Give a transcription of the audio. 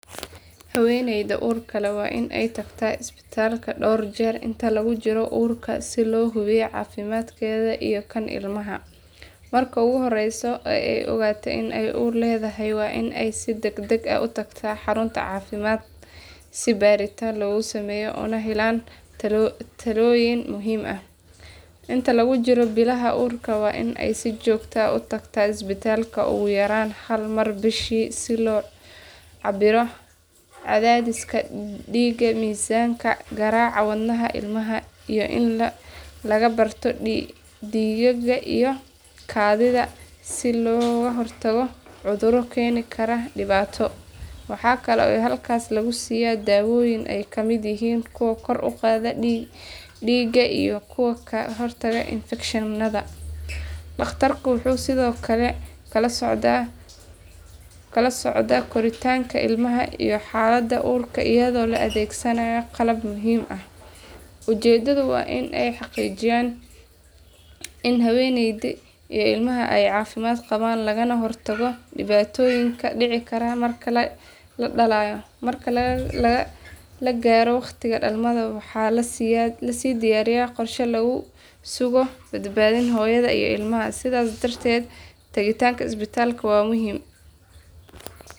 Haweeneyda uurka leh waa in ay tagtaa isbitaalka dhowr jeer inta lagu jiro uurka si loo hubiyo caafimaadkeeda iyo kan ilmaha. Marka ugu horreysa ee ay ogaatay in ay uur leedahay waa in ay si degdeg ah u tagtaa xarun caafimaad si baaritaan loogu sameeyo una helaan talooyin muhiim ah. Inta lagu jiro bilaha uurka waa in ay si joogto ah u tagtaa isbitaalka ugu yaraan hal mar bishii si loo cabbiro cadaadiska dhiigga, miisaanka, garaaca wadnaha ilmaha, iyo in laga baaro dhiigga iyo kaadida si looga hortago cudurro keeni kara dhibaato. Waxa kale oo halkaas lagu siiyaa daawooyin ay ka mid yihiin kuwa kor u qaada dhiigga iyo kuwa ka hortaga infekshanada. Dhakhtarku wuxuu sidoo kale kala socdaa koritaanka ilmaha iyo xaaladda uurka iyadoo la adeegsanayo qalab muuqaal ah. Ujeedadu waa in la xaqiijiyo in haweeneyda iyo ilmaha ay caafimaad qabaan lagana hortago dhibaatooyin ka dhici kara marka la dhalayo. Marka la gaaro waqtiga dhalmada waxaa la sii diyaariyaa qorshe lagu sugo badbaadada hooyada iyo ilmaha. Sidaas darteed tagitaanka isbitaalka waa muhiim.